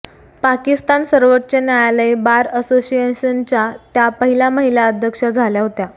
पाकिस्तान सर्वोच्च न्यायालय बार असोसिएशनच्या त्या पहिल्या महिला अध्यक्षा झाल्या होत्या